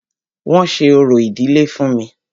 Wọ́n ṣe orò ìdílé fún mí.